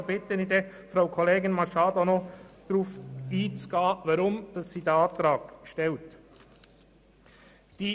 Da bitte ich die Kollegin Machado, noch darauf einzugehen, warum sie den Antrag gestellt hat.